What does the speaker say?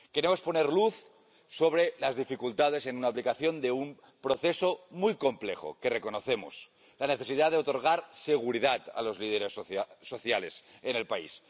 Queremos poner luz sobre las dificultades en la aplicación de un proceso muy complejo, algo que reconocemos la necesidad de otorgar seguridad a los líderes sociales en el país